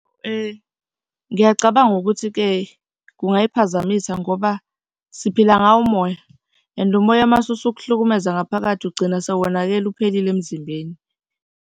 Ngiyacabanga ukuthi-ke kungayiphazamisa ngoba siphila ngawo umoya and umoya uma usukuhlukumeza ngaphakathi, ugcina sewonakele uphelile emzimbeni.